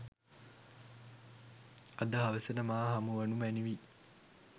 අද හවසට මා හමුවනු මැනවි